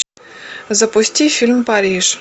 запусти фильм париж